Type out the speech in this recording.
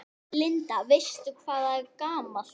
Linda: Veistu hvað það er gamalt?